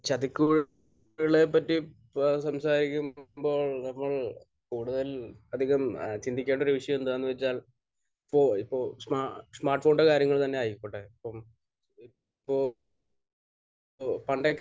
ചതിക്കുഴികളെപ്പറ്റി സംസാരിക്കുമ്പോൾ നമ്മൾ കൂടുതൽ അധികം ചിന്തിക്കാത്തൊരു ഇഷ്യൂ എന്താണെന്ന് വെച്ചാൽ ഇപ്പോൾ ഇപ്പോൾ സ്മ...സ്മാർട്ഫോണിന്റെ കാര്യം തന്നെ ആയിക്കോട്ടെ. ഇപ്പോൾ മ്മ് ഇപ്പോൾ പണ്ടൊക്കെ